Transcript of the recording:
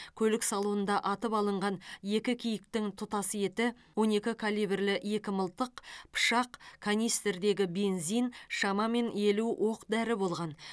көлік салонында атып алынған екі киіктің тұтас еті он екі калибрлі екі мылтық пышақ канистрдегі бензин шамамен елу оқ дәрі болған